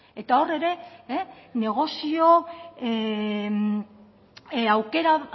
eta hor ere negozio aukera